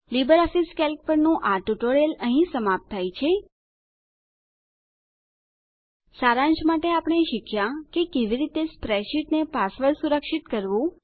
LibreOffice Calc પરનું આ spoken tutorial અહીં સમાપ્ત થાય છે સારાંશ માટે આપણે શીખ્યા કે કેવી રીતે સ્પ્રેડશીટને પાસવર્ડ સુરક્ષિત કરવું